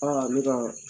Aa ne ka